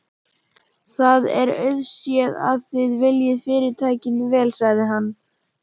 Það er auðséð, að þið viljið Fyrirtækinu vel sagði hann.